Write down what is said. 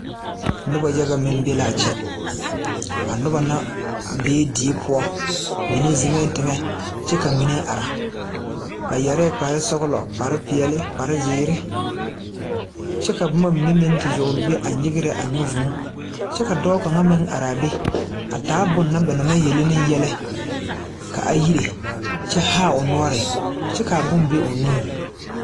Noba yaga be la a kyɛ. Die pʋɔ la ka ba be. Ba mine ziŋ la teŋe kyɛ ka ba mine are. Ba su la kparesɔglɔ, kparepeɛle, kpareziire kyɛ ka boma yagle nyigrɛ nyɛ vūū kyɛ ka dɔɔ kaŋ meŋ are taa bone na ba na maŋ de yele ne yɛllɛ ka a yire kyɛ haa o nuure kyɛ kaa bone be o nu pʋɔ.